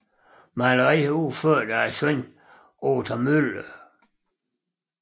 Maleri udført af sønnen Othar Müller